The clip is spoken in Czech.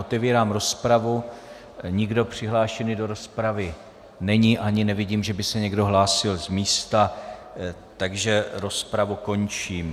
Otevírám rozpravu, nikdo přihlášen do rozpravy není ani nevidím, že by se někdo hlásil z místa, takže rozpravu končím.